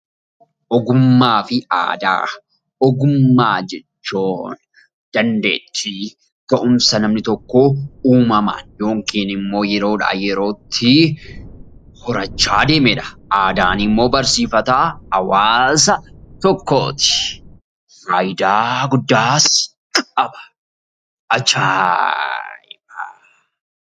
Ogummaa jechuun dandeettii ga'umsa namni tokko uumamaan yookiin immoo yeroodhaa yerootti horachaa adeemedha. Aadaan immoo barsiifata hawaasa tokkooti. Faayidaa guddaas qaba. Ajaa'iba!